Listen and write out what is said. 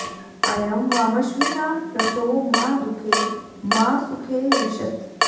अ॒यं वा॑म॒श्विना॒ रथो॒ मा दुः॒खे मा सु॒खे रि॑षत्